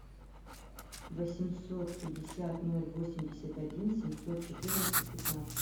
восемьсот пятьдесят ноль восемьдесят один семьсот четырнадцать пятнадцать